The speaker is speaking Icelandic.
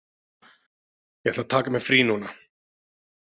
Ég ætla að taka mér frí núna.